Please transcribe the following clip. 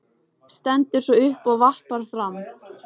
Stendur svo upp og vappar fram.